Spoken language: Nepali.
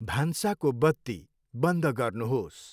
भान्साको बत्ती बन्द गर्नु्होस्।